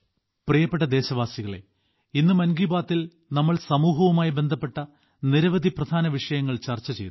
പ്രിയപ്പെട്ട ദേശവാസികളെ ഇന്ന് മൻ കി ബാത്തിൽ നമ്മൾ സമൂഹവുമായി ബന്ധപ്പെട്ട നിരവധി പ്രധാന വിഷയങ്ങൾ ചർച്ച ചെയ്തു